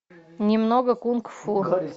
немного кунг фу